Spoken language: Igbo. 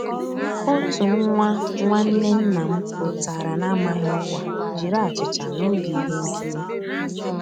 Ótú nwá nnwànné nná m pụ́tárá n'àmàghị́ ọ́kwá jiri àchíchà n'ògé íhé nkírí.